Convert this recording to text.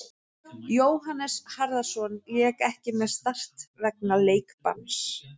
Jóhannes Harðarson lék ekki með Start vegna leikbanns.